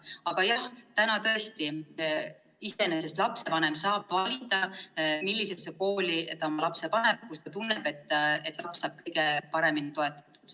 Aga jah, praegu saab lapsevanem tõesti valida, millisesse kooli ta oma lapse paneb ja kus ta tunneb, et laps saab kõige paremini toetatud.